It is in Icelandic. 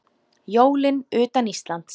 Jólin utan Íslands